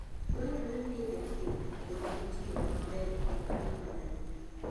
Dwarore ni jopith opuonjre tiyo maber gi kwiri maricho.